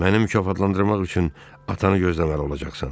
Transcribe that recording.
Məni mükafatlandırmaq üçün atanı gözləməli olacaqsan.